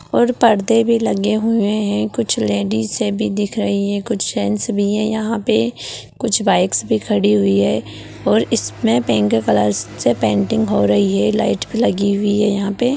और पर्दे भी लगे हुए है कुछ लेडीजे भी दिख रही है कुछ जेन्स भी है यहाँ पे कुछ बाइक्स भी खड़ी हुई है और इसमें पिंक कलर से पेंटिंग हो रही है लाइट भी लगी हुई है यहाँ पे --